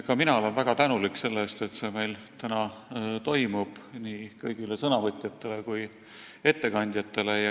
Ka mina olen selle eest, et see arutelu meil täna toimub, väga tänulik nii kõigile ettekande tegijatele kui ka sõnavõtjatele.